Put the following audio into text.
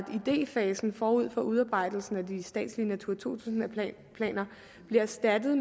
idéfasen forud for udarbejdelsen af de statslige natura to tusind planer bliver erstattet